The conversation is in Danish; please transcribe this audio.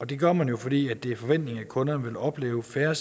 det gør man jo fordi det er en forventning at kunderne vil opleve færre